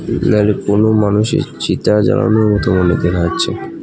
না-নাইলে কোনও মানুষের চিতা জ্বালানোর মতো মানে দেখা যাচ্ছে .